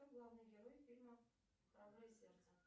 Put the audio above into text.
кто главный герой фильма храброе сердце